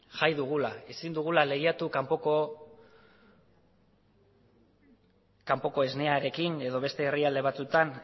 jai dugula ezin dugula lehiatu kanpoko esnearekin edo beste herrialde batzuetan